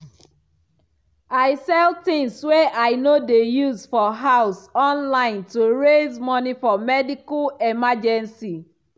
i sell things wey i no dey use for house online to raise money for medical emergency